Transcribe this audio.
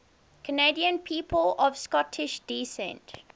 canadian people of scottish descent